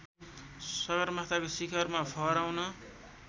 सगरमाथाको शिखरमा फहराउन